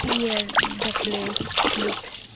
Here the place looks --